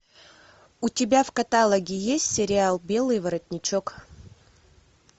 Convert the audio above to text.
у тебя в каталоге есть сериал белый воротничок